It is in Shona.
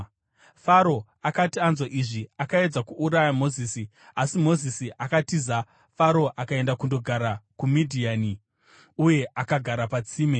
Faro akati anzwa izvi, akaedza kuuraya Mozisi, asi Mozisi akatiza Faro akaenda kundogara kuMidhiani, uye akagara patsime.